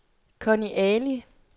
Conny Ali